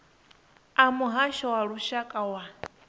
a muhasho wa lushaka wa